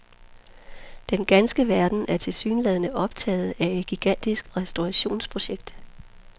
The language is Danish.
Den ganske verden er tilsyneladende optaget af et gigantisk restaurationsprojekt.